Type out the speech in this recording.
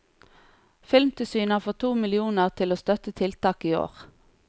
Filmtilsynet har fått to millioner til å støtte tiltak i år.